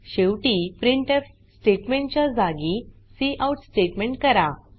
शेवटी printf statement च्या जागी काउट स्टेटमेंट करा